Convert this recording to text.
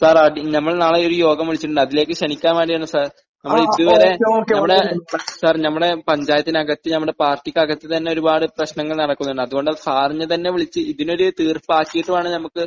Sir, അടി...നമ്മൾ നാളെ ഒരു യോഗം വിളിച്ചിട്ടുണ്ട്. അതിലേക്ക് ക്ഷണിക്കാൻ വേണ്ടിയാണ് സർ. നമ്മൾ ഇതുവരെ.. സർ..നമ്മടെ പഞ്ചായത്തിന്റെ അകത്ത് നമ്മടെ പാർട്ടിക്ക് അകത്ത് തന്നെ ഒരുപാട് പ്രശ്നങ്ങൾ നടക്കുന്നുണ്ട്. അത്കൊണ്ടാണ് സാറിനെ തന്നെ വിളിച്ച് ഇതിന് ഒരു തീർപ്പാക്കിയിട്ട് വേണം നമുക്ക്